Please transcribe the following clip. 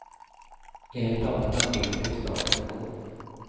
Enligt planerna sker byggstarten i vår.